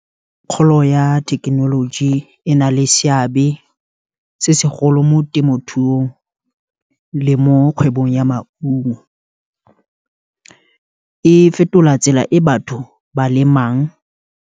Kgolo ya thekenoloji, ena le seabe se segolo mo temothuong, le mo kgwebong ya maungo e fetola tsela e batho ba lemang.